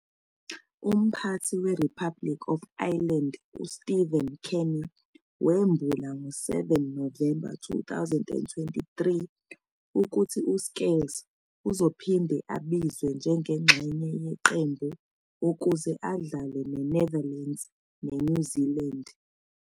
Umphathi we-Republic of Ireland UStephen Kenny wembula ngo-7 November 2023 ukuthi uScales uzophinde abizwe njengengxenye yeqembu ukuze adlale ne-INetherlands ne-INew Zealand.